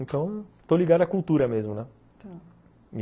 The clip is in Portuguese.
Então, estou ligado à cultura mesmo, né? tá